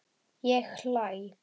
Ég hlæ.